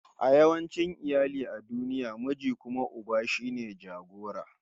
A yawancin iyali a duniya, miji kuma uba shine jagora